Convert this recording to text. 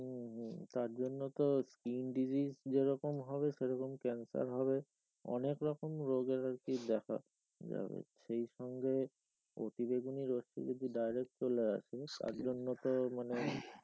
হম হম তার জন্য তো skin disease যেরকম হবে সেরকম cancer হবে অনেক রকম রোগের আর কি দেখা যাবে সেই সঙ্গে অতিবেগুনি রশ্মি যদি direct চলে আসে তার জন্য তো মানে,